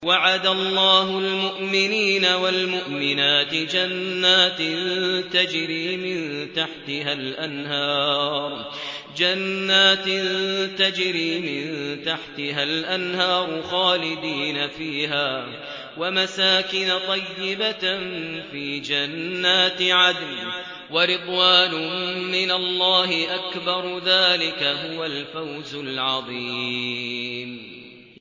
وَعَدَ اللَّهُ الْمُؤْمِنِينَ وَالْمُؤْمِنَاتِ جَنَّاتٍ تَجْرِي مِن تَحْتِهَا الْأَنْهَارُ خَالِدِينَ فِيهَا وَمَسَاكِنَ طَيِّبَةً فِي جَنَّاتِ عَدْنٍ ۚ وَرِضْوَانٌ مِّنَ اللَّهِ أَكْبَرُ ۚ ذَٰلِكَ هُوَ الْفَوْزُ الْعَظِيمُ